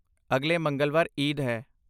ਅਗਲੇ ਮੰਗਲਵਾਰ ਈਦ ਹੈ।